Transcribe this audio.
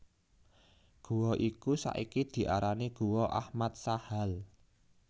Gua iku saiki diarani Guwa Ahmad Sahal